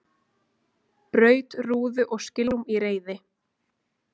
Braut rúðu og skilrúm í reiði